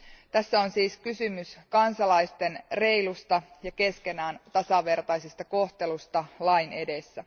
Tässä on siis kysymys kansalaisten reilusta ja keskenään tasavertaisesta kohtelusta lain edessä.